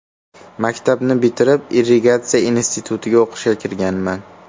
Maktabni bitirib, Irrigatsiya institutiga o‘qishga kirganman.